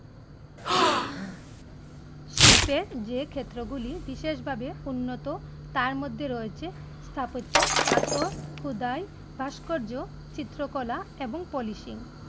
শিল্পের যে ক্ষেত্র গুলি বিশেষভাবে উন্নত তার মধ্যে রয়েছে স্থাপত্য, পাথর, খোদাই, ভাস্কর্য, চিত্রকলা, এবং polishing